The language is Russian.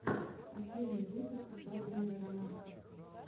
последний выпуск свадебного романса